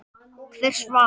Hver svaf?